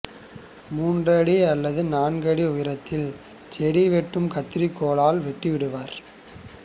மூன்றடி அல்லது நான்கடி உயரத்தில் செடி வெட்டும் கத்தரிக் கோலால் வெட்டிவிடுவர்